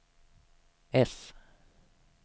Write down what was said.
S